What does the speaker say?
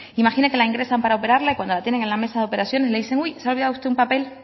imagine que la ingresan para operarla y cuando la tienen en la mesa de operaciones le dicen que se ha olvidado usted un papel